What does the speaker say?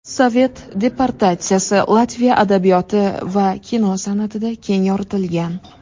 Sovet deportatsiyasi Latviya adabiyoti va kino san’atida keng yoritilgan.